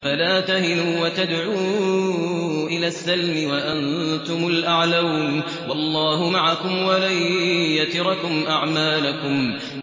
فَلَا تَهِنُوا وَتَدْعُوا إِلَى السَّلْمِ وَأَنتُمُ الْأَعْلَوْنَ وَاللَّهُ مَعَكُمْ وَلَن يَتِرَكُمْ أَعْمَالَكُمْ